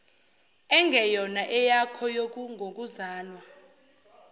engeyona eyakho ngokuzalwa